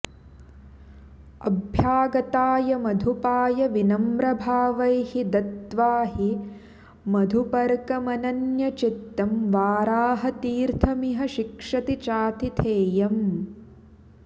अभ्यागताय मधुपाय विनम्रभावैः दत्त्वा हि मधुपर्कमनन्यचित्तं वाराहतीर्थमिह शिक्षति चातिथेयम्